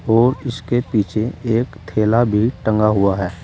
और उसके पीछे एक थैला भी टंगा हुआ है।